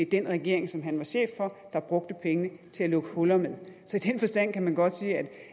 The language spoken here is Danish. den regering som han var chef for der brugte pengene til at lukke huller med så i den forstand kan man godt sige